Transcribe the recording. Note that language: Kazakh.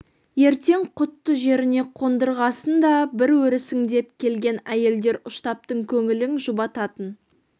ертең құтты жеріне қондырғасын да бір өрісің деп келген әйелдер ұштаптың көңілін жұбататын